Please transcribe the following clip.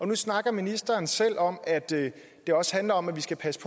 nu snakker ministeren selv om at det også handler om at vi skal passe